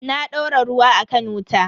Na daura ruwa a kan wuta.